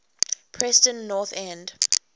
preston north end